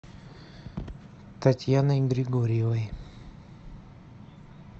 татьяной григорьевой